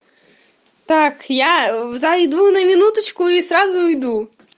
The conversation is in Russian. так я зайду на минуточку и сразу уйду